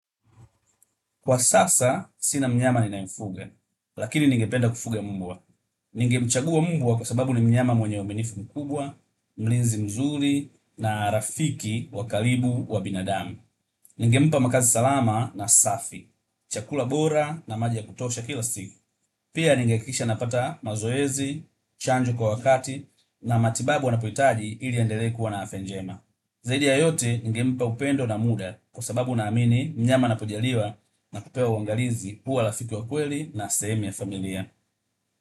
Kwa sasa, sina mnyama ninayemfuga, lakini ningependa kufuga mbwa. Ningemchagua mbwa kwa sababu ni mnyama mwenye uaminifu mkubwa, mlinzi mzuri na rafiki wa karibu wa binadamu. Ningempa makazi salama na safi, chakula bora na maji ya kutosha kila siku. Pia ningehakikisha anapata mazoezi, chanjo kwa wakati na matibabu anapohitaji ili andelee kuwa na afya njema. Zaidi ya yote ningempa upendo na muda kwa sababu ninaamini mnyama anapojaliwa na kupewa uangalizi huwa rafiki wa kweli na sehemu ya familia.